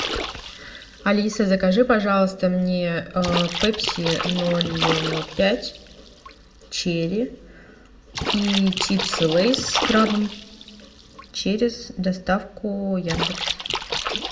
алиса закажи пожалуйста мне пепси ноль пять черри и чипсы лейс с крабом через доставку яндекс